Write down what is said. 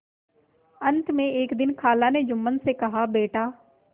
अंत में एक दिन खाला ने जुम्मन से कहाबेटा